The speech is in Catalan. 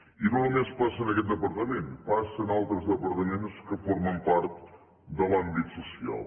i no només passa en aquest departament passa en altres departaments que formen part de l’àmbit social